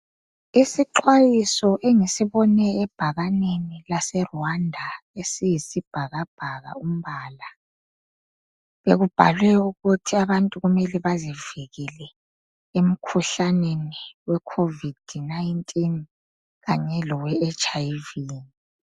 Isixwayiso engisibone ebhakaneni lase Rwanda esiyisibhakabhaka umbala. Bekubhalwe ukuthi abantu kumele bazivikele emkhuhlaneni we COVID-19 kanye lowe HIV.